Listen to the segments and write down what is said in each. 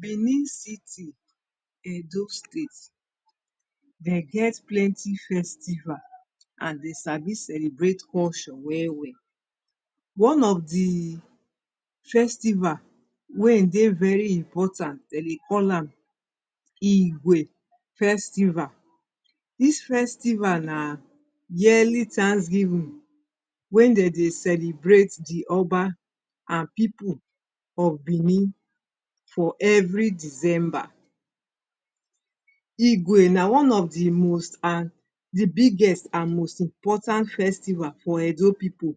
Benin city edo state dem get plenty festival and dem Sabi celebrate culture well well one of di festival wey dey very important dem dey call am igwe festival dis festival na yearly thanks givin wey dem dey celebrate the oba and people of benin for every December Igwe na one of di most an di biggest am most important festival for edo people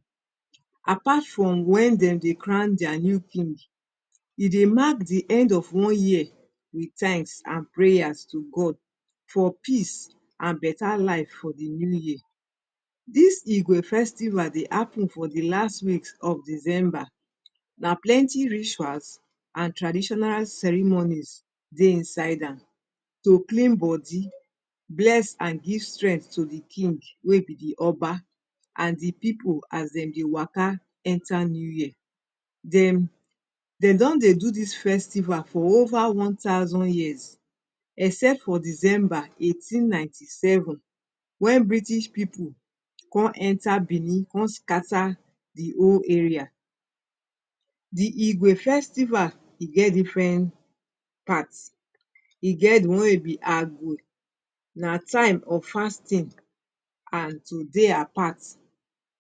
apart from wen dem dey crown deir new king e dey mark di end of one year with tanks and prayer to God for peace and beta life for di new year dis igwe festival dey happen for di last week of December na plenty rituals and traditional ceremonies dey inside am to clean body bless and gyv strent to di king wey be di people as dem waka enter new year dem don dey do dis festival for over one thousand years except for december eighteen nineteen seven wen British people com enter Benin com scata di whole area di igwe festival e geh diferent part e get di one wey e be agwe na time of fasting and to dey apart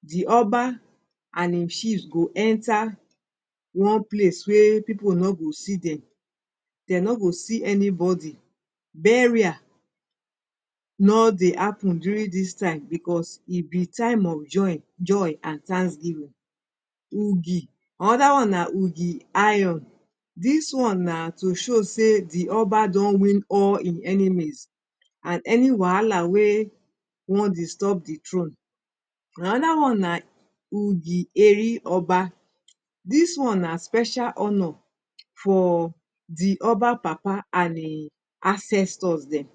di oba and[um]chiefs go enter one place weyy people no go see dem dey no go see anybody burial no dey hapun during dis time Because e be time of joy joy and tanksgivin uwgi another one na uwgi iron dis one na to show sey di oba don win all en enemies and any wala wey wan destroy the trone anoda one na ugi eri oba dis one na special honor for di Oba papa and en ancestors dem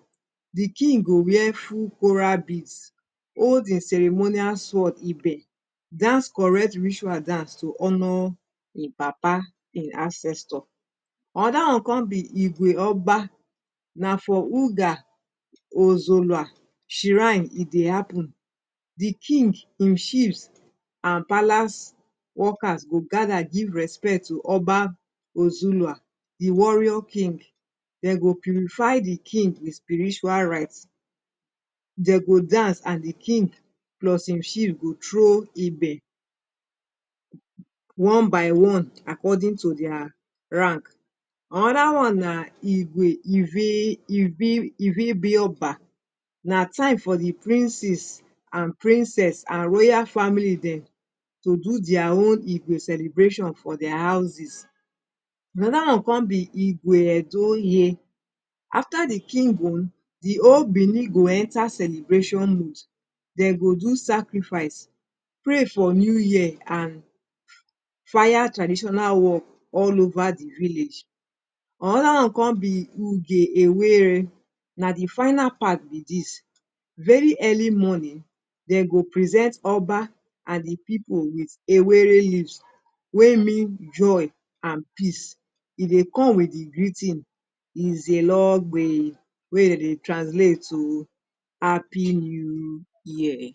di king go wear ful coral beads hol de ceremonial sword ibe dance correct ritual dance to honor en papa en ancestor anoda one con be igwe oba na for uga ozolwa shirine e dey hapun di king[um]chiefs and palace workers go gada give respect to oba ozolwa di warrior king dem go purify di king wit spiritual rite dem go dance and di king plus en chief go throw ibe one by one according to deir rank anoda one na igwe ivi ivy ivy bioba na time for di princes and princes and royal family dem to do deir own igwe celebration for their houses anoda one con be igwe edo ye afta di king own di whole Benin go enta celebration mud dem go do sacrifice pray for new year and fire traditional war all over di village anoda one con be uge owere na the final part be dis very early morning dem go present oba and di people wit ewere leaves wey mean Joy and peace e dey come wit di greeting iselogwe wey dem dey translate to happy new year